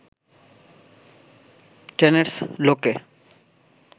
টেনেডস লোকে